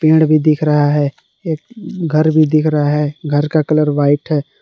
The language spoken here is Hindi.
पेड़ भी दिख रहा है एक घर भी दिख रहा है घर का कलर वाइट है।